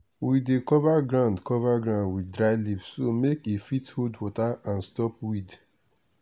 we dey cover ground cover ground with dry leaf so make e fit hold water and stop weed.